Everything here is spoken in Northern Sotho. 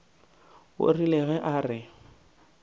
o rile ge a re